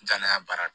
N danaya baara